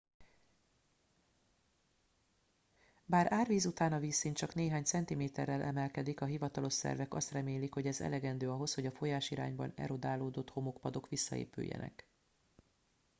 bár árvíz után a vízszint csak néhány centiméterrel emelkedik a hivatalos szervek azt remélik hogy ez elegendő ahhoz hogy a folyásirányban erodálódott homokpadok visszaépüljenek